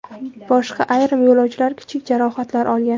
Boshqa ayrim yo‘lovchilar kichik jarohatlar olgan.